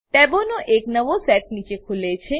ટેબોનો એક નવો સેટ નીચે ખુલે છે